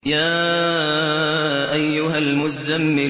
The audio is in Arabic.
يَا أَيُّهَا الْمُزَّمِّلُ